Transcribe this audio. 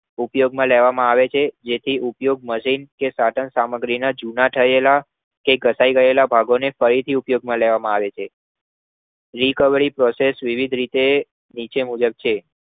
ઉપયોગમાં લેવા માં આવે છે જેથી ઉપયોગ મશીન સાધન સામગ્રી ના જુના થયેલા કે ઘટઈ ગયેલા ભાગોને ફરીથી ઉપયોગમાં લેવામાં આવે છે recovery process વિવિધ રીતે નીચે મુજબ છે